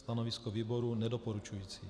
Stanovisko výboru nedoporučující.